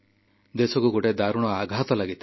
ଦେଶକୁ ଗୋଟିଏ ଦାରୁଣ ଆଘାତ ଲାଗିଥିଲା